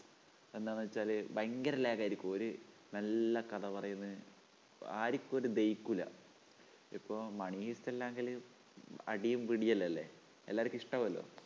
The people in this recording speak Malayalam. എന്താണെന്നുവച്ചാല് ഭയങ്കര lag ആയിരിക്കും. ഒരു നല്ല കഥ പറയുന്നു ആർക്കും ഒരു ദഹിക്കൂല്ല ഇപ്പൊ money heist എങ്കില് അടിയും പിടിയുമെല്ലാമല്ലേ എല്ലാവർക്കും ഇഷ്ടാവൂല്ല